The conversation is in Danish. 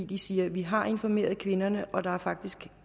de siger at de har informeret kvinderne og at der faktisk